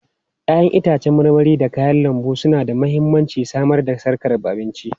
Ya'yan itãcen marmari da kayan lambu suna da mahimmancin samar da sarkar abinci.